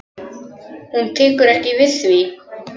Hún tekur ekki við því.